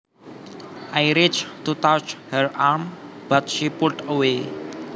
I reached to touch her arm but she pulled away